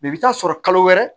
i bɛ taa sɔrɔ kalo wɛrɛ